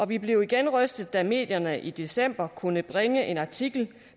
vi blev igen rystet da medierne i december kunne bringe en artikel